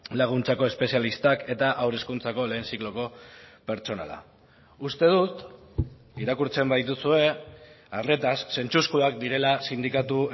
laguntzako espezialistak eta haur hezkuntzako lehen zikloko pertsonala uste dut irakurtzen badituzue arretaz zentzuzkoak direla sindikatu